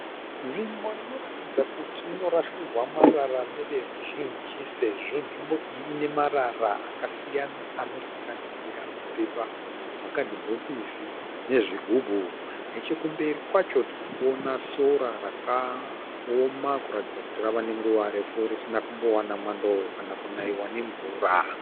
Nzvimbo inoratidza kuti inorasirwa marara neveruzhinji sezvo nzvimbo iyi ine marara akasiyana anosanganisira mapepa, makadhibhokisi nezvigubhu. Nechokumberi kwacho tiri kuona sora rakaoma kuratidza kuti rava nenguva refu risina kumbowana mwando kana kunaiwa nemvura.